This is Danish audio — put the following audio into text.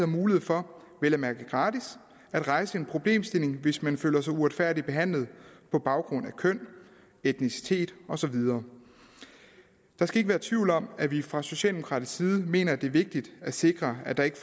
mulighed for vel at mærke gratis at rejse en problemstilling hvis man føler sig uretfærdigt behandlet på baggrund af køn etnicitet og så videre der skal ikke være tvivl om at vi fra socialdemokratisk side mener at det er vigtigt at sikre at der ikke